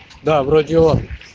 да вроде он